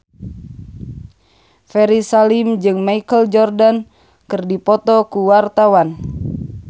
Ferry Salim jeung Michael Jordan keur dipoto ku wartawan